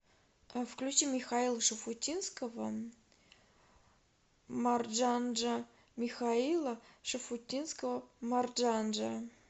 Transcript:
включи михаила шуфутинского марджанджа михаила шафутинского марджанджа